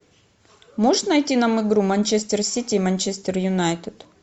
можешь найти нам игру манчестер сити и манчестер юнайтед